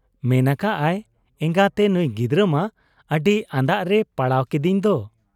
ᱢᱮᱱ ᱟᱠᱟᱜ ᱟᱭᱼᱼ 'ᱮᱸᱜᱟᱛᱮ ᱱᱩᱭ ᱜᱤᱫᱟᱹᱨ ᱢᱟ ᱟᱹᱰᱤ ᱟᱸᱫᱟᱜ ᱨᱮᱭ ᱯᱟᱲᱟᱣ ᱠᱤᱫᱤᱧ ᱫᱚ ᱾'